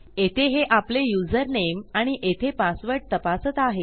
येथे हे आपले युजरनेम आणि येथे पासवर्ड तपासत आहे